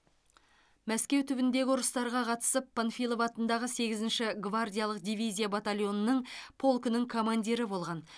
мәскеу түбіндегі ұрыстарға қатысып панфилов атындағы сегізінші гвардиялық дивизия батальонының полкінің командирі болған